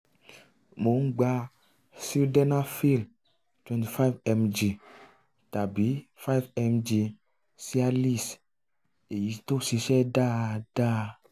mo ń gba sildenafil twenty five mg tàbí five mg cialis èyí tó ṣiṣẹ́ dáadáa